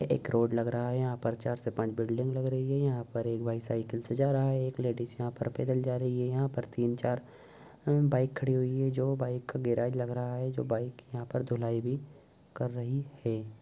एक रोड लग रहा है| यहाँ पर चार से पाछ बिल्डिंग लग रही है| यहाँ पर एक भाई साइकिल से जा रहा है एक लेडिज यहाँ पर पैदल जा रही है| यहाँ पर तीन-चार बाइक खड़ी हुई है जो बाइक वगेरा लग रहा है जो बाइक यहाँ पर धुलाई भी कर रही है ।